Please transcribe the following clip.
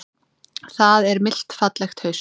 Það er milt fallegt haust.